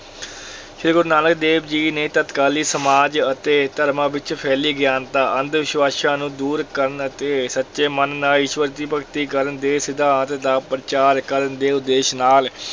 ਸ੍ਰੀ ਗੁਰੂ ਨਾਨਕ ਦੇਵ ਜੀ ਨੇ ਤਤਕਾਲੀ ਸਮਾਜ ਅਤੇ ਧਰਮਾਂ ਵਿੱਚ ਫੈਲੀ ਅਗਿਆਨਤਾ ਅੰਧ-ਵਿਸ਼ਵਾਸਾਂ ਨੂੰ ਦੂਰ ਕਰਨ ਅਤੇ ਸੱਚੇ ਮਨ ਨਾਲ ਈਸ਼ਵਰ ਦੀ ਭਗਤੀ ਕਰਨ ਦੇ ਸਿਧਾਂਤ ਦਾ ਪ੍ਰਚਾਰ ਕਰਨ ਦੇ ਉਦੇਸ਼ ਨਾਲ